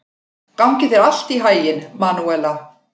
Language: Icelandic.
Gangi þér allt í haginn, Manúela.